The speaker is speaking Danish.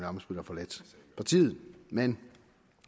ammitzbøll har forladt partiet men